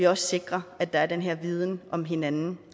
også sikrer at der er den her viden om hinanden